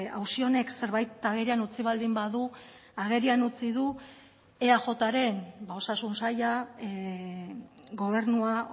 auzi honek zerbait agerian utzi baldin badu agerian utzi du eajren osasun saila gobernua